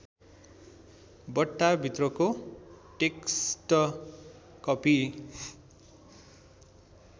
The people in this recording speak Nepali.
बट्टाभित्रको टेक्स्ट कपी